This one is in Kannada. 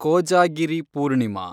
ಕೋಜಾಗಿರಿ ಪೂರ್ಣಿಮಾ